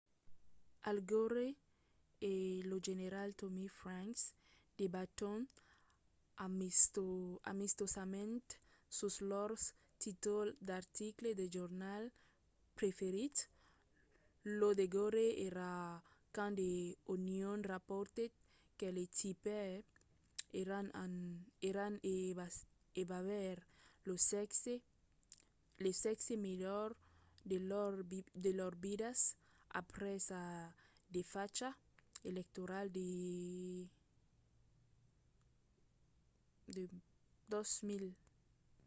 al gore e lo general tommy franks debaton amistosament sus lors títols d'articles de jornals preferits lo de gore èra quand the onion raportèt qu'el e tipper èran a aver lo sèxe melhor de lors vidas aprèp sa desfacha electorala de 2000